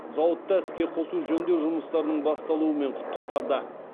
зауытта іске қосу жөндеу жұмыстарының басталуымен құттықтады